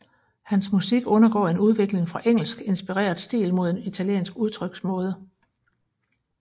Hans musik undergår en udvikling fra engelsk inspireret stil mod en italiensk udtryksmåde